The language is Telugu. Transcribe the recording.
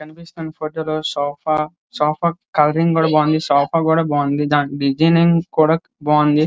కనిపిస్తున్న ఫోటోలో సోఫా సోఫా కలరింగ్ కూడా బాగుంది సోఫా కూడా బాగుంది దాని డిజైనింగ్ కూడా బావుంది.